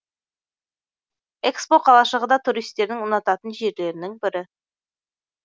экспо қалашығы да туристердің ұнататын жерлерінің бірі